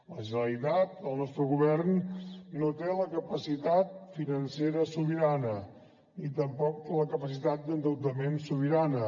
la generalitat el nostre govern no té la capacitat financera sobirana ni tampoc la capacitat d’endeutament sobirana